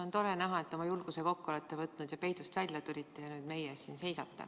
On tore näha, et te olete julguse kokku võtnud ja peidust välja tulnud ning seisate nüüd meie ees.